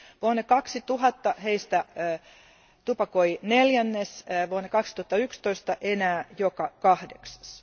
Vuonna 2000 heistä tupakoi neljännes, vuonna 2011 enää joka kahdeksas.